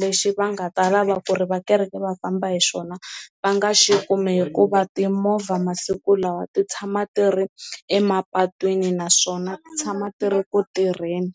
lexi va nga ta lava ku ri va kereke va famba hi xona va nga xi kumi hikuva timovha masiku lawa ti tshama ti ri emapatwini naswona ti tshama ti ri ku tirheni.